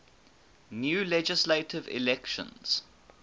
new legislative elections